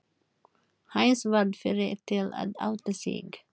Heinz varð fyrri til að átta sig.